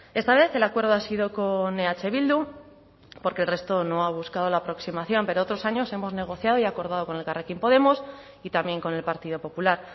esta vez el acuerdo ha sido con eh bildu porque el resto no ha buscado la aproximación pero otros años hemos negociado y acordado con elkarrekin podemos y también con el partido popular